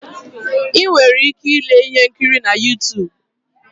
Ị nwere ike ile ihe nkiri na Yutub